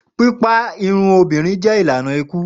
Pipa irun obinrin jẹ ilana iku.